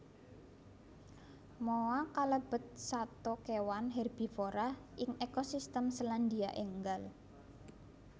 Moa kalebet sato kewan herbivora ing ekosistem Selandia Ènggal